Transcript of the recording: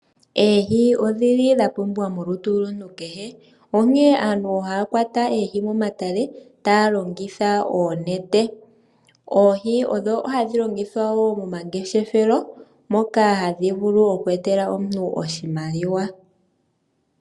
Oohi odhili dha pumbiwa molutu lwomuntu kehe. Onkene aantu ohaya kwata oohi momatale taya longitha oonete. Oohi odho hadhi longithwa wo momangeshefelo moka hadhi vulu okweetela omuntu oshimaliwa.